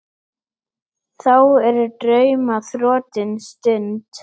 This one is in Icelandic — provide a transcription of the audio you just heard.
Þá er drauma þrotin stund.